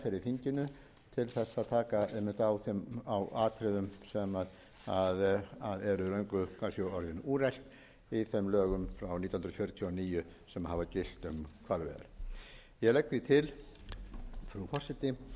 þinginu til þess að taka einmitt á atriðum sem eru löngu kannski orðin úrelt í þeim lögum frá nítján hundruð fjörutíu og níu sem hafa gilt um hvalveiðar ég legg því til frú forseti að